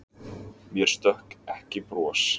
Mér stökk ekki bros.